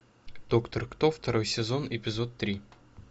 доктор кто второй сезон эпизод три